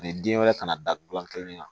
den wɛrɛ kana da gilan kelen na